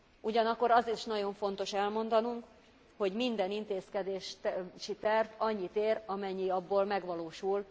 Ugyanakkor azt is nagyon fontos elmondanunk, hogy minden intézkedési terv annyit ér, amennyi abból megvalósul.